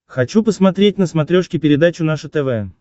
хочу посмотреть на смотрешке передачу наше тв